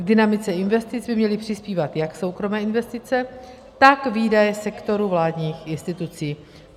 K dynamice investic by měly přispívat jak soukromé investice, tak výdaje sektoru vládních institucí.